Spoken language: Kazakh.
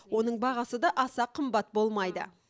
оның бағасы да аса қымбат болмайды